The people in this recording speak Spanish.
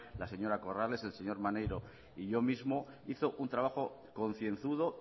la señora corrales el señor maneiro y yo mismo hizo un trabajo concienzudo